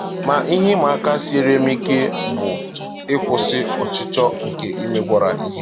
Ma ihe ịma aka siere m ike karịsịa bụ ịkwụsị ọchịchọ nke imegwara ihe.